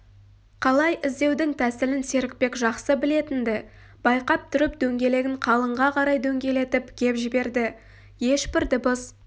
қалай іздеудің тәсілін серікбек жақсы білетін-ді байқап тұрып дөңгелегін қалыңға қарай дөңгелетіп кеп жіберді ешбір дыбыс